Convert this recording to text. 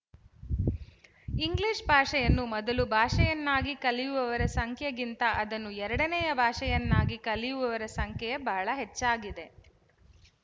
English ಭಾಷೆಯನ್ನು ಮೊದಲು ಭಾಷೆಯನ್ನಾಗಿ ಕಲಿಯುವವರ ಸಂಖ್ಯೆಗಿಂತ ಅದನ್ನು ಎರಡನೆಯು ಭಾಷೆಯನ್ನಾಗಿ ಕಲಿಯುವವರ ಸಂಖ್ಯೆ ಬಹಳ ಹೆಚ್ಚಾಗಿದೆ